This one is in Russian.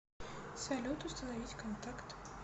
салют установить контакт